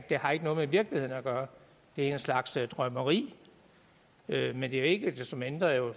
har ikke noget med virkeligheden at gøre det er en slags drømmeri men det er ikke desto mindre jo